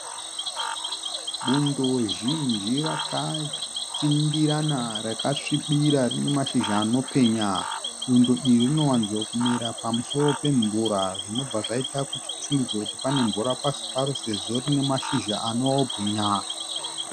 Bundo zhinji rakatsindirana rakasvibira rine mashizha anopenya. Bundo iri rinowanzokumera pamusoro pemvura zvinobva zvaita kuti tifungidzire kuti pasi paro pane mvura sezvo pane mashizha anobwinya.